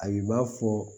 Ayi u b'a fɔ